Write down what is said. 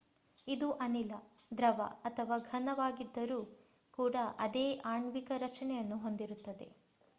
ಇದು ಅನಿಲ ದ್ರವ ಅಥವಾ ಘನವಾಗಿದ್ದರೂ ಕೂಡ ಅದೇ ಆಣ್ವಿಕ ರಚನೆಯನ್ನು ಹೊಂದಿರುತ್ತದೆ